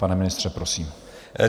Pane ministře, prosím.